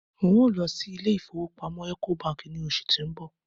n o lọ sí ilé ifowópamọ́ eco Bank ni oṣù ti n bọ̀